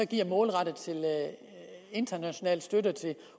giver målrettet i international støtte til